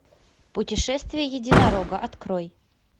путешествие единорога открой